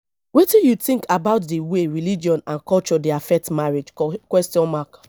wetin you think about di way religion and culture dey affect marriage question mark